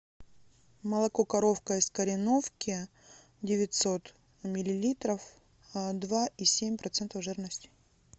молоко коровка из кореновки девятьсот миллилитров два и семь процентов жирности